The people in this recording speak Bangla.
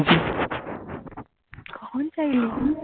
কখন চাইলি তুই